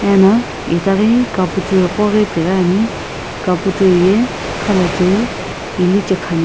ana etaghi caputor koghi Ane ano caputor ye khalocheu ilichae khane.